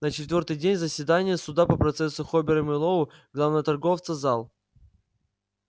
на четвёртый день заседания суда по процессу хобера мэллоу главного торговца зал